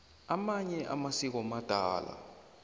amanye amasiko madala